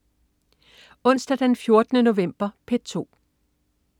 Onsdag den 14. november - P2: